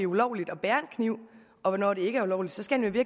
ulovligt at bære en kniv og hvornår det ikke er ulovligt så skal han jo